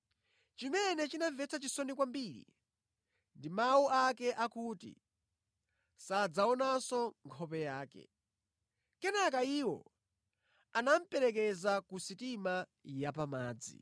Chimene chinamvetsa chisoni kwambiri ndi mawu ake akuti sadzaonanso nkhope yake. Kenaka iwo anamuperekeza ku sitima yapamadzi.